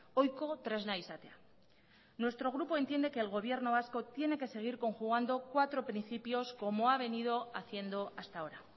ohiko tresna izatea nuestro grupo entiende que el gobierno vasco tiene que seguir conjugando cuatro principios como ha venido haciendo hasta ahora